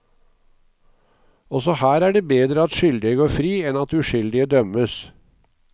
Også her er det bedre at skyldige går fri enn at uskyldige dømmes.